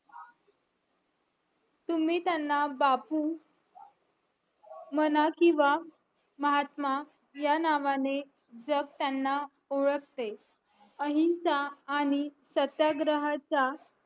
तुम्ही त्यांना बापू म्हणा किंवा महात्मा ह्या नावाने जग त्यांना ओळखते अहिंसा आणि सत्याग्रहाचा